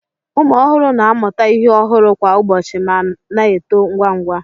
Ụmụ ọhụrụ na-amụta ihe ọhụrụ kwa ụbọchị ma na-eto ngwa ngwa